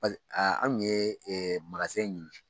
anw ye ɲini